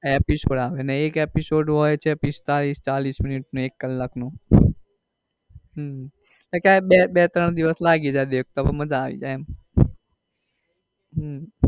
હમ episode આવે ને એક episode હોય છે પિસ્તાલીસ મિનિટ ચાલીસ મિનિટ એક કલાક નો હમ તો ક્યારેક બે બે ત્રણ દિવસ લાગી જાય દેખતા પણ માજા આવી જાય એમ